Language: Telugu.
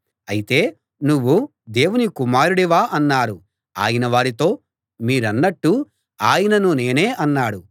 అయితే నువ్వు దేవుని కుమారుడివా అన్నారు ఆయన వారితో మీరన్నట్టు ఆయనను నేనే అన్నాడు